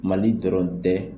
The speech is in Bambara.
Mali dɔrɔn tɛ